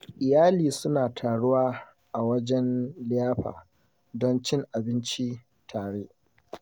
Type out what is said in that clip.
Iyali suna taruwa a wajen liyafa don cin abinci tare.